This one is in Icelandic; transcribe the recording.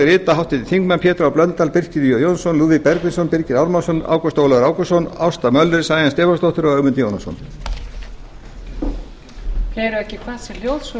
rita háttvirtir þingmenn pétur h blöndal birkir j jónsson lúðvík bergvinsson birgir ármannsson ágúst ólafur ágústsson ásta möller sæunn stefánsdóttir og ögmundur jónasson